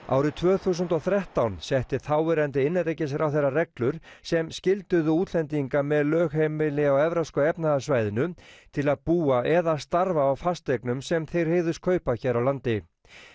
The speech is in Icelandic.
árið tvö þúsund og þrettán setti þáverandi innanríkisráðherra reglur sem skylduðu útlendinga með lögheimili á evrópska efnahagssvæðinu til að búa eða starfa á fasteignum sem þeir hygðust kaupa hér á landi